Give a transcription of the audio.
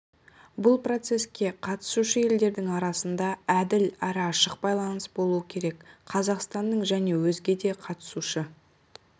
бұл процеске қатысушы елдердің арасында әділ әрі ашық байланыс болуы керек қазақстанның және өзге де қатысушы